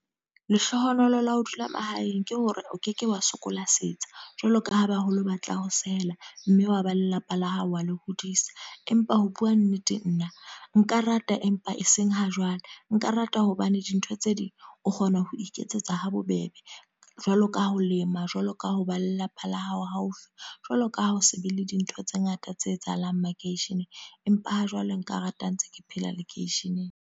Lehlohonolo la ho dula mahaeng, ke hore o keke wa sokola setsha. Jwalo ka ha baholo batla ho sehela. Mme wa ba lelapa la hao wa le hodisa. Empa ho bua nnete nna, nka rata empa e seng ha jwale. Nka rata hobane dintho tse ding o kgona ho iketsetsa habobebe. Jwalo ka ha ho lema, jwalo ka ho ba lelapa la hao haufi, jwaloka ha o se be le dintho tse ngata tse etsahalang makeisheneng. Empa ha jwale nka rata ha ntse ke phela lekeisheneng.